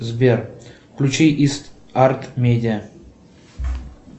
сбер включи ист арт медиа